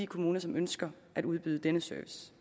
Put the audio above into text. kommuner som ønsker at udbyde denne service